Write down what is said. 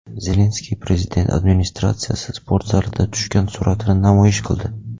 Zelenskiy Prezident administratsiyasi sportzalida tushgan suratini namoyish qildi.